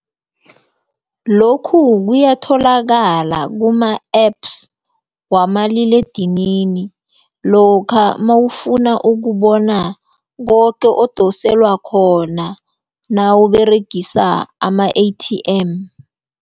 Lokhu kuyatholakala kuma-apps wamaliledinini lokha mawufuna ukubona koke okudosela khona nawuberegisa ama-A_T_M.